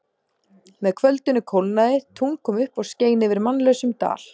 Með kvöldinu kólnaði, tungl kom upp og skein yfir mannlausum dal.